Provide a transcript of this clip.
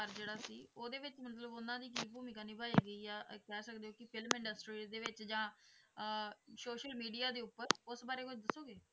ਜਿਹੜਾ ਸੀ, ਉਹਦੇ ਵਿੱਚ ਮਤਲਬ ਉਹਨਾਂ ਦੀ ਕੀ ਭੂਮਿਕਾ ਨਿਭਾਈ ਗਈ ਆ ਅਹ ਕਹਿ ਸਕਦੇ ਹੋ ਕਿ film industry ਦੇ ਵਿੱਚ ਜਾਂ ਅਹ social media ਦੇ ਉੱਪਰ ਉਸ ਬਾਰੇ ਕੁੱਝ ਦੱਸੋਗੇ?